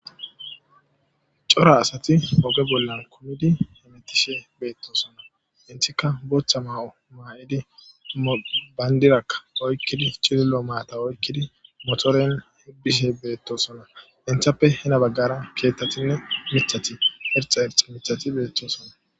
cora asati oge bollan kumidi hemetishe beettosonna intika botha ma'o maa'idi bayndirakka oykkidi chillo maata oykkidi motoren bbishe beettosonna intappe hena baggara keethtatinne mithati erixa erixi mithati beettosonna